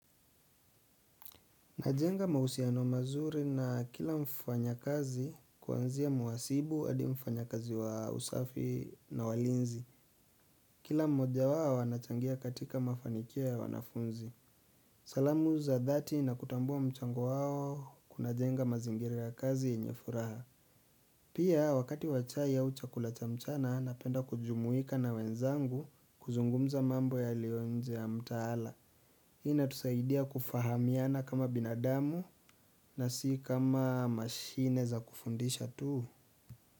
Najenga mahusiano mazuri na kila mfanyakazi kuanzia muhasibu hadi mfanyakazi wa usafi na walinzi. Kila mmoja wao anachangia katika mafanikio ya wanafunzi. Salamu za dhati na kutambua mchango wao kunajenga mazingira ya kazi yenye furaha. Pia wakati wa chai au chakula cha mchana napenda kujumuika na wenzangu kuzungumza mambo yaliyo nje ya mtaala. Hii inatusaidia kufahamiana kama binadamu na si kama mashine za kufundisha tu.